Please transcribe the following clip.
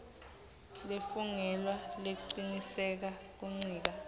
lefungelwe lecinisekisa kuncika